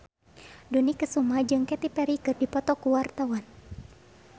Dony Kesuma jeung Katy Perry keur dipoto ku wartawan